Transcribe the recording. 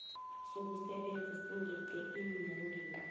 sokusebenza singeqi eenyangeni